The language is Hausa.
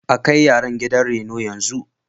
A kai yaran gidan reno yanzu.